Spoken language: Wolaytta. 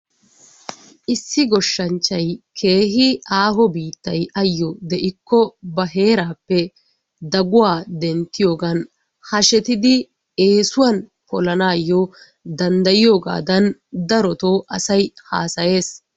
Issi goshanchay kehi aaho bittay ayoi deikko ba herappe daguwa dentiyogan hashetidi esuwan polanayyo dandayiyogatton darotto asayi hasayesi.